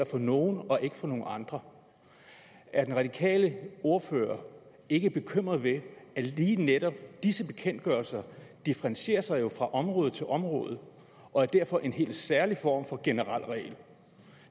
for nogle og ikke for nogle andre er den radikale ordfører ikke bekymret ved at lige netop disse bekendtgørelser differentieres fra område til område og derfor er en helt særlig form for generel regel